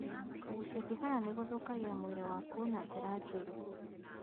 Kũgucia thigara nĩgũthũkagia mwĩrĩ waku na njĩra njũru.